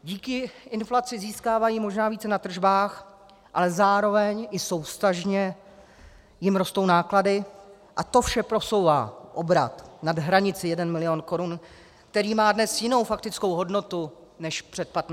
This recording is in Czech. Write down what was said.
Díky inflaci získávají možná více na tržbách, ale zároveň i souvztažně jim rostou náklady, a to vše posouvá obrat nad hranici 1 milion korun, který má dnes jinou faktickou hodnotu než před 15 lety.